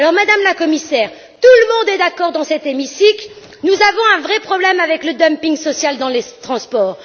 Madame la Commissaire, tout le monde est d'accord dans cet hémicycle nous avons un vrai problème avec le dumping social dans les transports.